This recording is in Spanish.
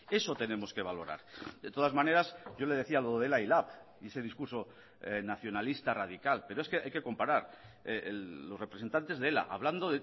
eso tenemos que valorar de todas maneras yo le decía lo de ela y lab y ese discurso nacionalista radical pero es que hay que comparar los representantes de ela hablando